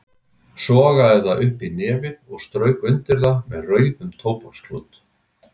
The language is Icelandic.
Sogaði það upp í nefið og strauk undir það með rauðum tóbaksklút.